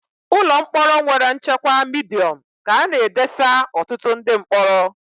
Ụlọ mkpọrọ nwere nchekwa Midiọm ka a na edesa ọtụtụ ndị mkpọrọ